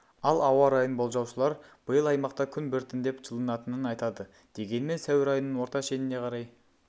ал ауа райын болжаушылар биыл аймақта күн біртіндеп жылынатынын айтады дегенмен сәуір айының орта шеніне қарай